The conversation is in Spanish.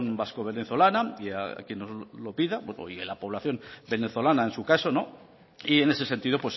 vasco venezolana y a quien nos lo pida bueno y a la población venezolana en su caso y en ese sentido